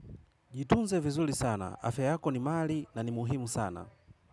Jitunze vizuri sana, afya yako ni mali na ni muhimu sana.